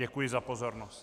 Děkuji za pozornost.